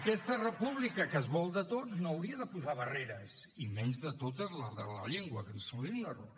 aquesta república que es vol de tots no hauria de posar barreres i menys de totes les de la llengua que ens semblaria un error